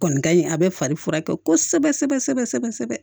Kɔni ka ɲi a bɛ fari furakɛ kosɛbɛ sɛbɛ sɛbɛ sɛbɛ sɛbɛ